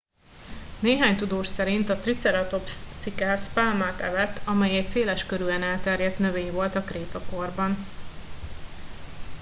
néhány tudós szerint a triceratops cikász pálmát evett amely egy széleskörűen elterjedt növény volt a krétakorban